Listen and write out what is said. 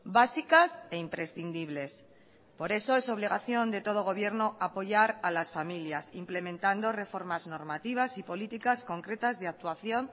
básicas e imprescindibles por eso es obligación de todo gobierno apoyar a las familias implementando reformas normativas y políticas concretas de actuación